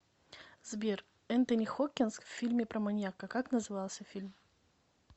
сбер энтони хокгинс в фильме про маньяка как назывался фильм